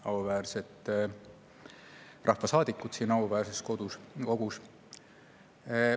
Auväärsed rahvasaadikud siin auväärses kogus!